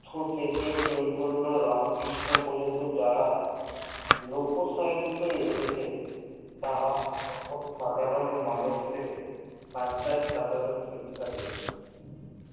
এর থেকে চৈতন্য রামকৃষ্ণ পর্যন্ত যারা লোক science এসেছে তারা সর্ব সাধারণ মানুষ কে ডাক্তার এর শিক্ষা দিচ্ছে